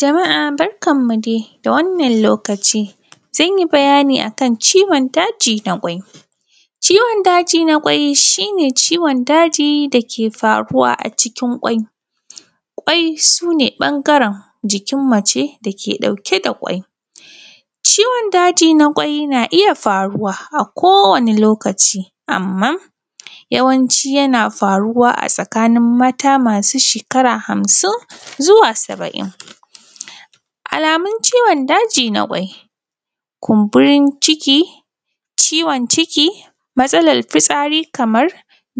Jama’a barkanmu da warhaka yau za mu tattauna ne akan ciwon daji na kwai, wato mahaifa. Ciwon daji na kwai shi ne ciwon daji da ke faruwa a cikin mahaifa, kwai shi ne wani ɓangare na jikin mace wanda ke sakin kwai domin a samu haihuwa, ciwon daji na kwai na iya faruwa akowane lokaci amma yawanci yana faruwa ne a tsakin mata masu shekaru hamsin zuwa saba’in. Alamomin ciwon daji na kwai sun haɗa da kumburin ciki, ciwo ciki, matsalar fisati kamar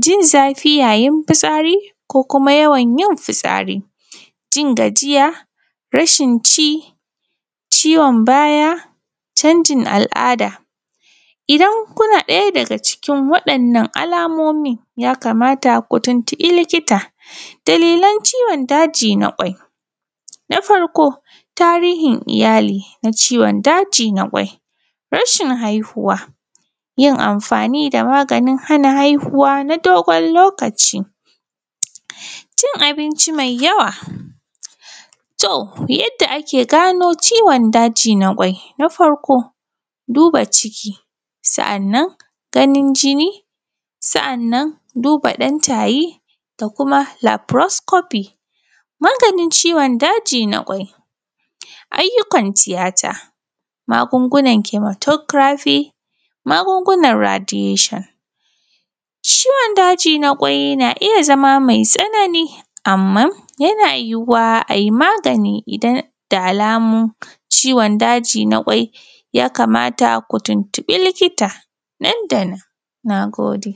jin zafi yayin fitasri ko kuma yawan yin fitsari, sa’annan jin yawan gajiya, sa’annan akwai rashin cin abinci, ciwon baya da kuma canjin al’ada idan kuna da ɗaya daga cikin kalan waɗannan alamomin ya kamata a tuntuɓi likita. Dalilan ciwon daji na kwai sun haɗa da tarihin iyali na ciwon dajin kwai, sa’an akwai rashin haihuwa, akwai yin amfani da magungunan hana haihuwa na dogon lokaci, sa’annan cin abnci me yawa yadda ake gano ciwon daji na kwai. Akwai duba jiki, akwi gwajin jinni, sa’annan akwai duba ɗan taye, akwai laforan lafaros kofi. Maganin ciwon daji na kwai, akwai sun haɗa da yadda za a magance ciwon daji na kwai, akan iya magancewa ta hanyan yin ayyukan tiyata, akwai kuma akwai magunu nata kemoterafi sa’annan kuma akwai kuma akwai magungunan radiyeshon. Ciwon daji na kwai na iya zama me tsanani, amma a yana iya yiyuwa a yi magnai idan da alamun ciwon daji na kwai sun bayyana da farko idan har kun ji daga cikin alamun da muka lissafa, ya kamata a tuntuɓi likita nan da nan. Na gode.